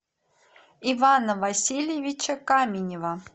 ивана васильевича каменева